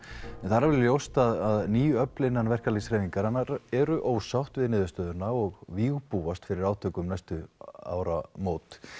en það er alveg ljóst að ný öfl innan verkalýðshreyfingarinnar eru ósátt við niðurstöðuna og vígbúast fyrir átök um næstu áramót